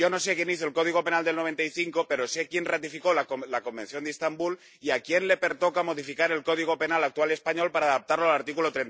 Y yo no sé quién hizo el Código Penal de 1995, pero sé quién ratificó la Convención de Estambul y a quién le toca modificar el Código Penal actual español para adaptarlo al artículo